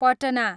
Patna